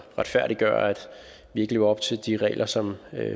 retfærdiggøre at vi ikke lever op til de regler som